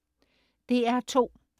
DR2: